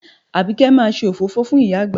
Àbíkẹ́ máa ṣe òfófó fún ìyá àgbà